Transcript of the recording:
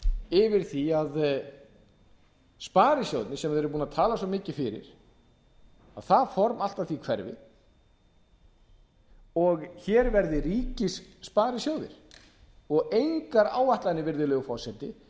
yfir því að sparisjóðirnir sem við erum búin að tala svo mikið fyrir að það form allt að því hverfi og hér verði ríkissparisjóðir og engar áætlanir virðulegur forseti